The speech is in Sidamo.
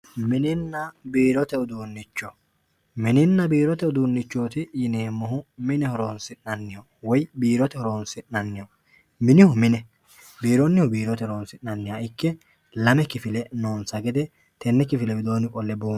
mininna biirote uduunnicho mininna biirote uduunnicho yineemmohu mine woyi biirote horonsi'neemmoho minihu mine biironnihu biirote horonsi'nanniho ikke lame kifile noonsa gede tenne kifile widoonni qolle buunxanni.